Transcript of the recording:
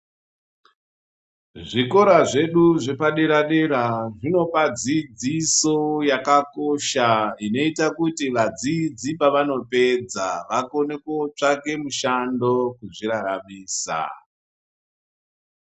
Zvikora zvedu zvepa dera dera zvinopa dzidziso yaka kosha inoita kuti vadzidzi pavano pedza vakone kotsvake mishando kuzvi raramisa.